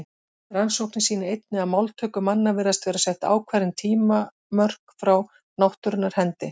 Rannsóknir sýna einnig að máltöku manna virðast vera sett ákveðin tímamörk frá náttúrunnar hendi.